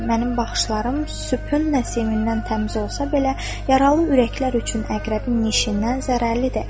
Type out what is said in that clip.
Mənim baxışlarım sübün nəsimindən təmiz olsa belə yaralı ürəklər üçün əqrəbin neşindən zərərlidir.